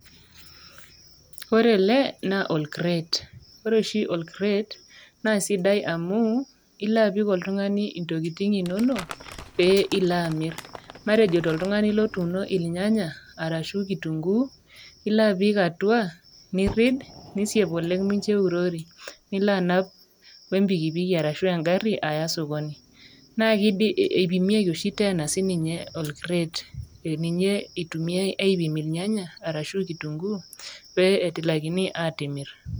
Ore ele naa olkret, ore oshi olkret naa sidai amuu ilo apik oltung'ani intokitin inono pee iloamirr, matejo toltungani lotuuno ilnyanya arashu  kitunguu, ilo apik atua nirrid, nisiep oleng mincho eurori, nilo anap  oempikipiki arashu engarri aya  sokoni. Naake eipimieki oshi teena sininye olkret ee ninye eitumiai aipim ilnyanya arashu  kitunguu pee etilakini atimirr.